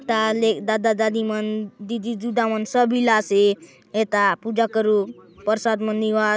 ता ले दादा दादी मन दीदी दुदा मन सब इला से ए था पूजा करुक प्रसाद मन नेवात।